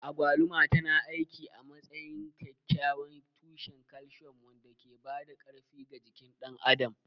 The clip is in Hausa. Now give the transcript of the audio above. Agwaluma tana aiki a matsayin kyakkyawan tushen calcium wanda ke ba da ƙarfi ga jikin ɗan adam.